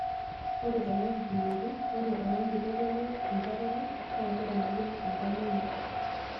Ore tena kipimoto, ore orangi oitodolu enkuatata naa keremokini enkaina ino.